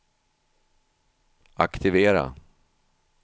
aktivera